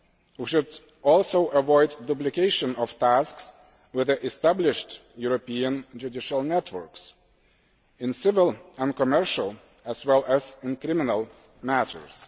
We should also avoid duplication of tasks with the established European judicial networks in civil and commercial as well as in criminal matters.